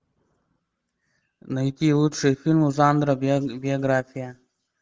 найти лучшие фильмы жанра биография